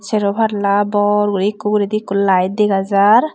sero palla bor guri ekko uguredi ekko lite dega jar.